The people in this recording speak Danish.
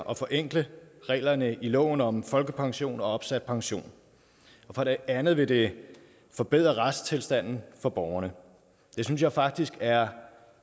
og forenkle reglerne i loven om folkepension og opsat pension for det andet vil det forbedre retstilstanden for borgerne det synes jeg faktisk er